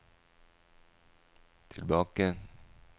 tilbake